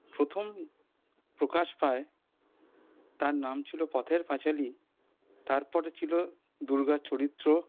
প্রথম প্রকাশ পায় তার নাম ছিল পথের পাঁচালি তারপর ছিল দূর্গা চরিত্র